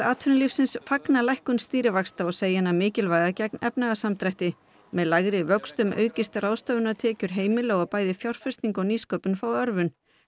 atvinnulífsins fagna lækkun stýrivaxta og segir hana mikilvæga gegn efnahagssamdrætti með lægri vöxtum aukist ráðstöfunartekjur heimila og bæði fjárfesting og nýsköpun fái örvun